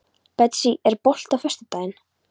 Betsý, er bolti á föstudaginn?